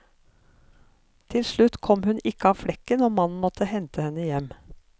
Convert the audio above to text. Til slutt kom hun ikke av flekken og mannen måtte hente henne hjem.